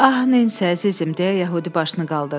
Ah, Nensi, əzizim, deyə yəhudi başını qaldırdı.